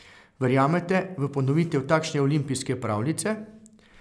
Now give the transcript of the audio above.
Verjamete v ponovitev takšne olimpijske pravljice?